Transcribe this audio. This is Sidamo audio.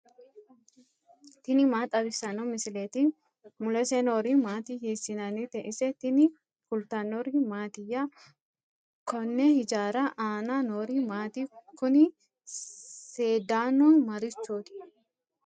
tini maa xawissanno misileeti ? mulese noori maati ? hiissinannite ise ? tini kultannori mattiya? Konni hijjarri Anna noori maatti? kunni seedaannu marichooti?